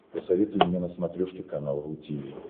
посоветуй мне на смотрешке канал ру ти ви